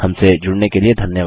हमसे जुड़ने के लिए धन्यवाद